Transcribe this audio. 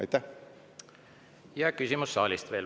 Ja veel küsimus saalist.